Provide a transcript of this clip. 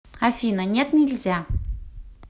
афина нет нельзя